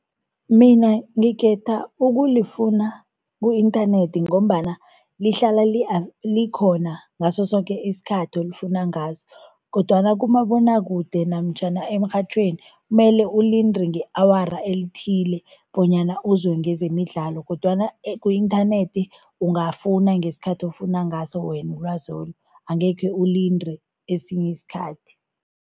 Mina ngikhetha ukulifuna ku-inthanethi ngombana lihlala likhona ngaso soke isikhathi olifuna ngaso kodwana kumabonwakude namtjhana emrhatjhweni mele ulinde nge-awara elithile bonyana uzwe ngezemidlalo kodwana ku-inthanethi ungafuna ngesikhathi ofuna ngaso wena ulwazolu, angekhe ulinde esinye isikhathi.